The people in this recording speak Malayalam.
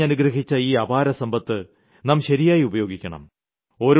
പ്രകൃതി കനിഞ്ഞനുഗ്രഹിച്ച ഈ അപാരസമ്പത്ത് നാം ശരിയായി ഉപയോഗിക്കണം